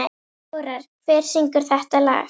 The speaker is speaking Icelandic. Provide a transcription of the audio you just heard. Þórar, hver syngur þetta lag?